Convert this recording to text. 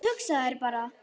Hugsaðu þér bara!